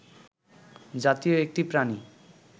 জাতীয় একটি প্রাণী